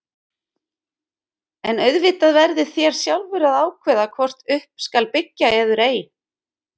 En auðvitað verðið þér sjálfur að ákveða hvort upp skal byggja eður ei.